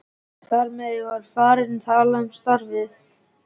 Þar með var ég farinn að tala um starfið.